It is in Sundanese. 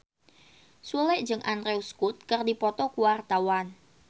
Sule jeung Andrew Scott keur dipoto ku wartawan